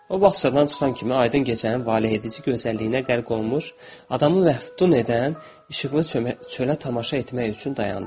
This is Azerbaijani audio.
O bağçadan çıxan kimi aydın gecənin valehedici gözəlliyinə qərq olunmuş, adamın vəhd edən, işıqlı çölə tamaşa etmək üçün dayandı.